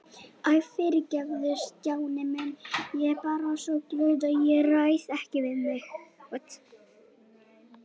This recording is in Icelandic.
Æ, fyrirgefðu Stjáni minn, ég er bara svo glöð að ég ræð ekki við mig